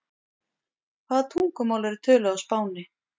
Hvaða tungumál eru töluð á Spáni?